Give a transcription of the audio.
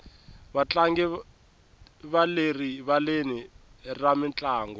vatlangi va le rivaleni ra mintlangu